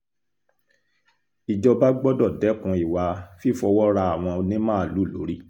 ìjọba gbọ́dọ̀ dẹ́kun ìwà fífọwọ́ ra àwọn onímaalùú lórí